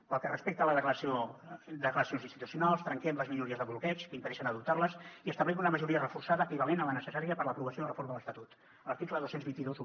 pel que respecta a les declaracions institucionals trenquem les minories de bloqueig que impedeixen adoptar les i establim una majoria reforçada equivalent a la necessària per a l’aprovació de la reforma de l’estatut l’article dos mil dos cents i vint un